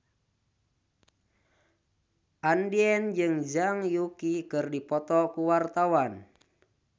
Andien jeung Zhang Yuqi keur dipoto ku wartawan